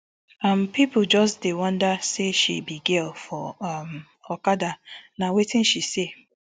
um pipo just dey wonder say she be girl for um okada na wetin she say